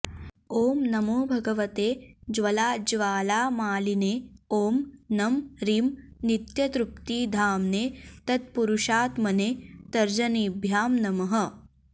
ॐ नमो भगवते ज्वलज्ज्वालामालिने ॐ नं रीं नित्यतृप्तिधाम्ने तत्पुरुषात्मने तर्जनीभ्यां नमः